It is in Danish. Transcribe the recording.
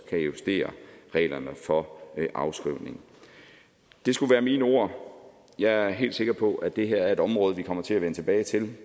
kan justere reglerne for afskrivning det skulle være mine ord jeg er helt sikker på at det her er et område vi kommer til at vende tilbage til